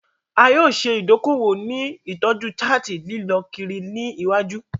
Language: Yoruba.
A yoo ṣe idoko-owo ni itọju chart lilọ kiri ni iwaju.